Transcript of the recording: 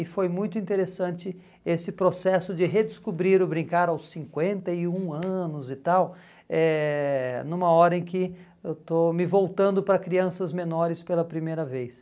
E foi muito interessante esse processo de redescobrir o brincar aos cinquenta e um anos e tal, eh numa hora em que eu estou me voltando para crianças menores pela primeira vez.